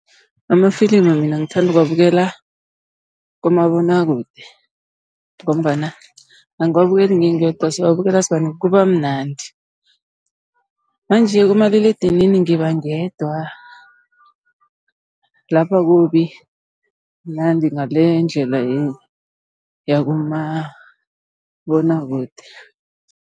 Amafilimu mina ngithanda ukuwabukela kumabonwakude, ngombana angiwabukeli ngingedwa siwabukela sibanengi kuba mnandi. Manje kumaliledinini ngiba ngedwa lapho akubi mnandi ngaleyo ndlela le yakumabonwakude.